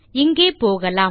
இங்கே போகலாம்